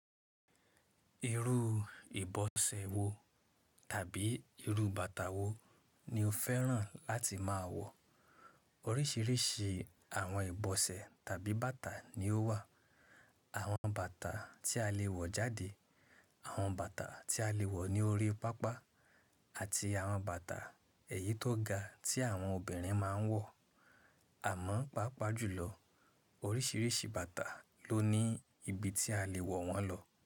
Irú ìbọsẹ̀ wo tàbí irú bàtà wo ni o fẹ́ràn láti máa wọ̀? Oríṣiríṣi àwọn ìbọsẹ̀ tàbí bàtà ni ó wà. Àwọn bàtà tí a lè wọ̀ jáde, àwọn bàtà tí a lè wọ̀ ní orí pápá àti àwọn bàtà ẹ̀yí tó ga tí àwọn obìnrin máa ń wọ̀. Àmọ́, pàápàá jùlọ oríṣiríṣi bàtà ló ní ibi tí a lè wọ̀ wọ́n lọ.